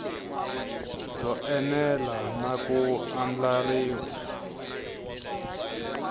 byo enela na ku andlariwa